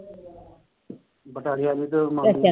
ਵਿਚਾਰੀਆਂ ਨੇ ਤੇ